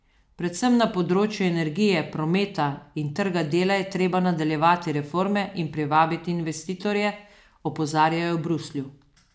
Predvsem na področju energije, prometa in trga dela je treba nadaljevati reforme in privabiti investitorje, opozarjajo v Bruslju.